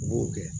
U b'o kɛ